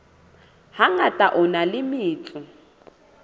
hangata a na le metso